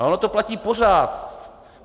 A ono to platí pořád.